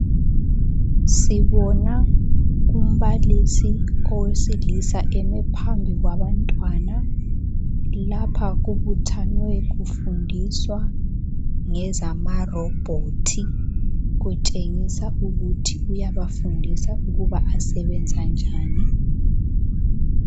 Sibona umbalisi owesilisa eme phambi kwabantwana. Lapha kubuthanwe kufundiswa ngezamarobhothi kutshengisa ukuthi uyabafundisa ukuba asebenza njani.